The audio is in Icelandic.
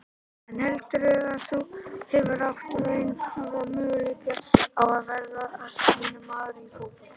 En heldurðu að þú hefðir átt raunhæfa möguleika á að verða atvinnumaður í fótbolta?